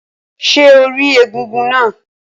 Ṣé o rí egúngún náà?